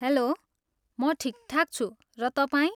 Hello, म ठिकठाक छु, र तपाईँ?